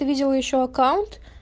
видел ещё аккаунт